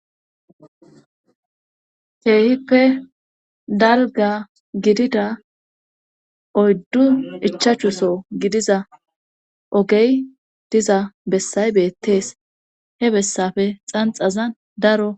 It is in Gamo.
keehippe dalgga gidida oyddu ichachou so gidiza ogey diza bessay beettees he bessappe xanxazan daro